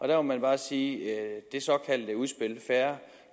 der må jeg bare sige at i det såkaldte udspil fair